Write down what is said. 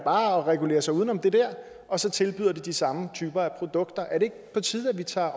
og regulerer sig uden om det der og så tilbyder de de samme typer produkter er det ikke på tide at vi tager